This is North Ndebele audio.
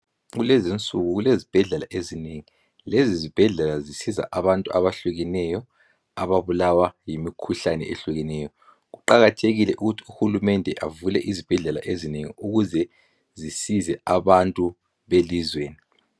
Kulezinsuku kulezibhedlela ezinengi. Lezi zibhedlela zisiza abantu abahlukeneyo, ababulawa yimikhuhlane ehlukeneyo. Kuqakathekile ukuthi uhulumende avule izibhedlela ezinengi ukuze zisize abantu belizweni.